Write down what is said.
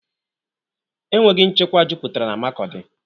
E nweghi nchekwa jupụtara n'Makodi